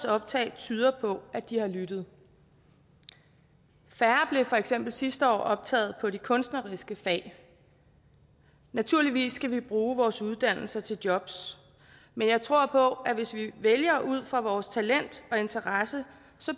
optag tyder på at de har lyttet færre blev for eksempel sidste år optaget på de kunstneriske fag naturligvis skal vi bruge vores uddannelser til jobs men jeg tror på at hvis vi vælger ud fra vores talent og interesse